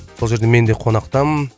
сол жерде мен де қонақтамын